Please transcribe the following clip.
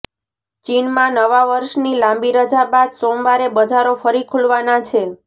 ચીનમાં નવા વર્ષની લાંબી રજા બાદ સોમવારે બજારો ફરી ખુલવાના છે